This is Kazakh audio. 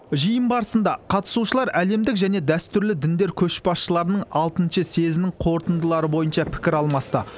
жиын барысында қатысушылар әлемдік және дәстүрлі діндер көшбасшыларының алтыншы съезінің қорытындылары бойынша пікір алмасты